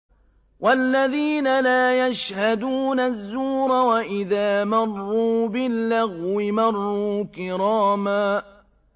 وَالَّذِينَ لَا يَشْهَدُونَ الزُّورَ وَإِذَا مَرُّوا بِاللَّغْوِ مَرُّوا كِرَامًا